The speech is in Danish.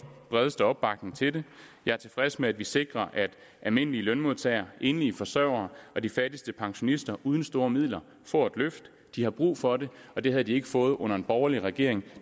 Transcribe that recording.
bredeste opbakning til det jeg er tilfreds med at vi sikrer at almindelige lønmodtagere enlige forsørgere og de fattigste pensionister uden store midler får et løft de har brug for det og det havde de ikke fået under en borgerlig regering